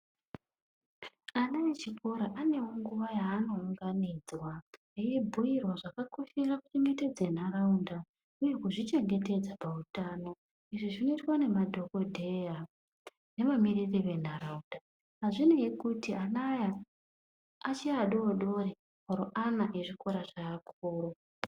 Ana echikora anewo nguva ya ano unganidzwa eyi bhuyirwa zvaka koshera ku chengetedze nharaunda uye kuzvi chengetedza pa utano izvi zvino itwa ne madhokodheya neva miriri ve ndaraunda azvinei kuti ana aya achiri adodori oro ana ezvikora zve akuru.